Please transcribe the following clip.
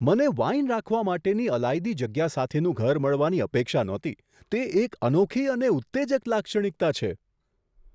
મને વાઈન રાખવા માટેની અલાયદી જગ્યા સાથેનું ઘર મળવાની અપેક્ષા નહોતી તે એક અનોખી અને ઉત્તેજક લાક્ષણિકતા છે.